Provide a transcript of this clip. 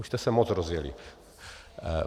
Už jste se moc rozjeli.